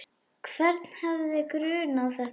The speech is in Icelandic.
Hvern hefði grunað þetta?